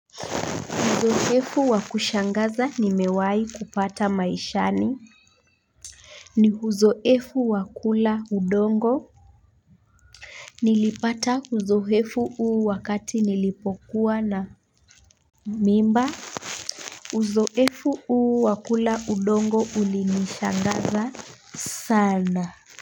Uzoefu wakushangaza nimewai kupata maishani. Ni uzoefu wa kula udongo. Nilipata uzoefu huu wakati nilipokuwa na mimba uzoefu huu wa kula udongo ulinishangaza sana.